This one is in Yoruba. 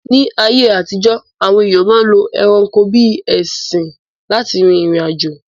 Ní ayé àtijọ́, àwọn èyàn ma ń lo ẹranko bíi ẹṣin lá ti rìrìn àjò.